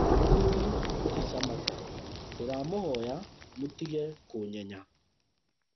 Mũthuri ti Samatta: ndĩramũhoya mũtige kũnyenya